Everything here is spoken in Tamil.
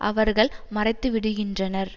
அவர்கள் மறைத்துவிடுகின்றனர்